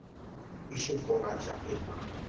এইসব বলা যাবেনা